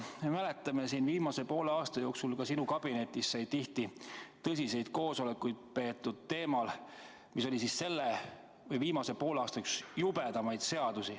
Me mäletame, et viimase poole aasta jooksul sai ka sinu kabinetis tihti tõsiseid koosolekuid peetud teemal, mis oli üks viimase poole aasta jubedamaid ettevõtmisi.